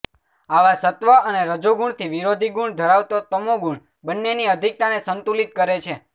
આવા સત્વ અને રજોગુણથી વિરોધીગુણ ધરાવતો તમોગુણ બન્નેની અધિકતાને સંતુલિત કરે છે